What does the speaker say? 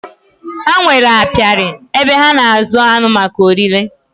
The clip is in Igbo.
Ha nwèrè apiari, ebe ha na azụ aṅụ maka órí le